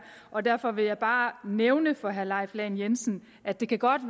og derfor vil jeg bare nævne for herre leif lahn jensen at det godt